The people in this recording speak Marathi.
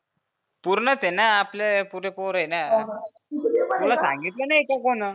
पुर्णच आहेना आपले पुरे पोरं आहेना. तुला सांगितलं नाही का कोन्ह?